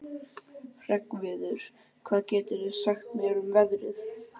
Hreggviður, hvað geturðu sagt mér um veðrið?